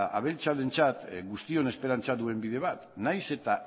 abeltzainentzat guztion esperantza duen bide bat nahiz eta